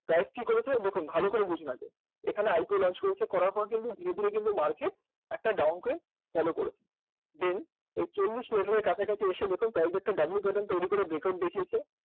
কয়েকটি করেছে, দেখুন ভালো করে বুঝুন আগে এখানে আইকো launch করেছে করার পর কিন্তু ধীরে ধীরে কিন্তু market একটা downgrade follow করেছে then এই চল্লিশ এর কাছাকাছি এসে দেখুন টা একটা w pattern তৈরি করে breakout দেখিয়েছে